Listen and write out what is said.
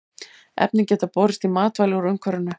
Efnin geta borist í matvæli úr umhverfinu.